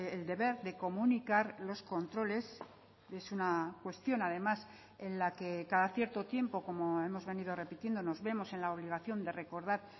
el deber de comunicar los controles es una cuestión además en la que cada cierto tiempo como hemos venido repitiendo nos vemos en la obligación de recordar